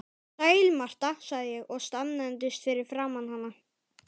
Sæl Marta, sagði ég og staðnæmdist fyrir framan hana.